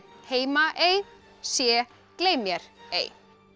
heimaey c gleym mér ei